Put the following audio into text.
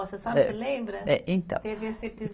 A senhora se lembra? É então. Teve esse